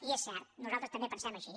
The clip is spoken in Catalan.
i és cert nosaltres també pensem així